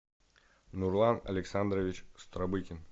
нурлан александрович стробыкин